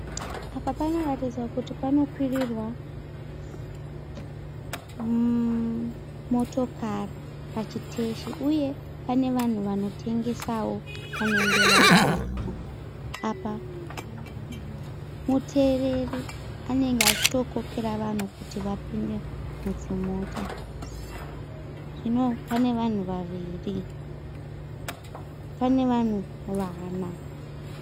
Apa panoratidzawo kuti panokwirirwa motokari pachiteshi, uye pane vanhu vanotengesawo vanenge varipo .Apa mutereri anenge achitokorera vanhu kuti vapinde mudzimota. Zvino pane vanhu vaviri pane vanhu vana.